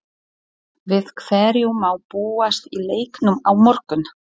Við hverju má búast í leiknum á morgun?